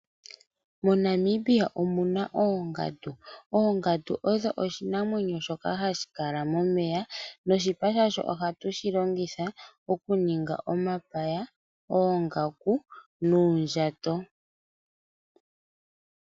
MoNamibia omu na oongandu. Ongandu oyo oshinamwenyo shoka hashi kala momeya noshipa sha sho oha tu shi longitha okunduluka po omapaya, oongaku noondjato.